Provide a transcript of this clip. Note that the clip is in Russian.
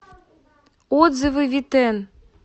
отзывы витэн